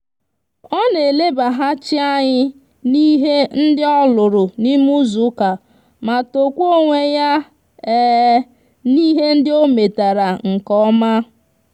o na elebahachi anyi n'ihe ndi oluru n'ime izu uka ma tokwa onwe ya n'ihe ndi ometara nke oma